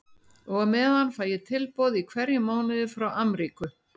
Og á meðan fæ ég tilboð í hverjum mánuði frá Amríku.